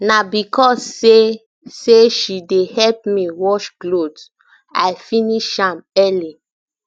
na because sey sey she dey help me wash cloth i finish am early